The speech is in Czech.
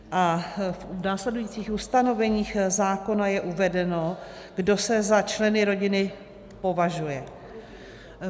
A v následujících ustanoveních zákona je uvedeno, kdo se za členy rodiny považuje.